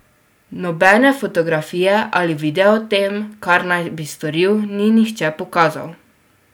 Nobene fotografije ali videa o tem, kar naj bi storil, ni nihče pokazal!